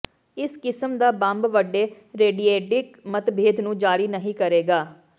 ਇਸ ਕਿਸਮ ਦਾ ਬੰਬ ਵੱਡੇ ਰੇਡੀਏਡਿਕ ਮਤਭੇਦ ਨੂੰ ਜਾਰੀ ਨਹੀਂ ਕਰੇਗਾ